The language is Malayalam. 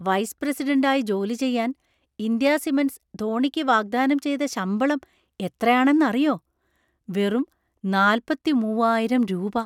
വൈസ് പ്രസിഡൻ്റ് ആയി ജോലി ചെയ്യാൻ ഇന്ത്യാ സിമൻ്റ് സ് ധോണിക്ക് വാഗ്ദാനം ചെയ്ത ശമ്പളം എത്രയാണെന്നറിയോ? വെറും നാല്പത്തിമൂവായിരം രൂപ!